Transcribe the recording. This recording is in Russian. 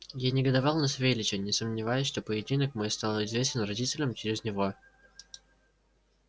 я негодовал на савельича не сомневаясь что поединок мой стал известен родителям через него